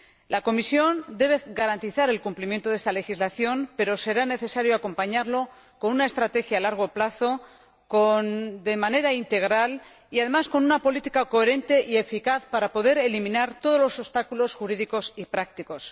La Comisión debe garantizar el cumplimiento de esta legislación, pero será necesario acompañarlo con una estrategia a largo plazo, de manera integral y, además, con una política coherente y eficaz, para poder eliminar todos los obstáculos jurídicos y prácticos.